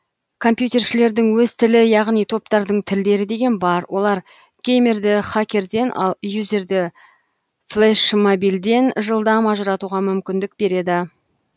компьютершілердің өз тілі яғни топтардың тілдері деген бар олар геймерді хакерден ал юзерді флешмобилден жылдам ажыратуға мүмкіндік береді